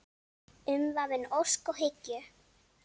Umvafin ósk og hyggju.